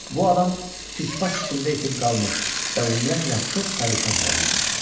Bu adam çirk pas içində itib qalmış və ümumiyyətlə çox pərişan hala düşmüşdü.